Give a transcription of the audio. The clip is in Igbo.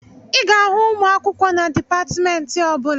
Ị ga-ahụ ụmụ akwụkwọ na dịpatmentị ọbụla